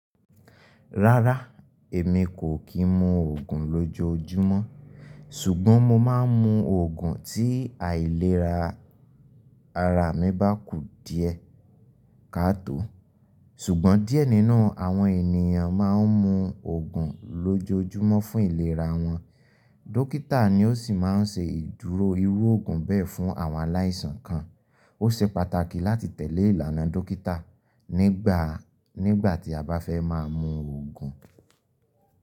Rárá, èmi kò kí n mu ògùn lójoójúmọ́, ṣùgbọ́n mo máa ń mu ògùn tí àìlera ara mi bá ku díẹ̀ kaato. Ṣùgbọ́n díẹ̀ nínú àwọn ènìyàn máa ń mu ògùn lójoójúmọ́ fún ìlera wọn. Dókítà ni ó sì máa ń ṣe ìdúró irú ògùn bẹ́ẹ̀ fún àwọn aláìsàn kan. Ó ṣe pàtàkì láti tẹ̀lé ìlànà dókítà nígbà tí a bá fẹ́ máa mu ògùn.